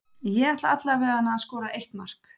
Ég ætla alla veganna að skora eitt mark.